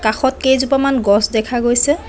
কাষত কেইজোপামান গছ দেখা গৈছে।